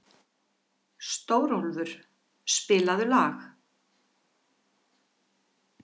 Stórólfur, spilaðu lag.